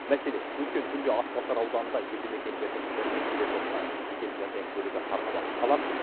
мәселен өткен түнде атбасар ауданында елді мекендердің бірінен келе жатқан жедел жәрдем көлігі қарға батып қалады